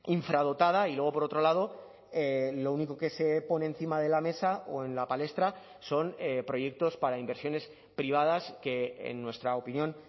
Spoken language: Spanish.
infradotada y luego por otro lado lo único que se pone encima de la mesa o en la palestra son proyectos para inversiones privadas que en nuestra opinión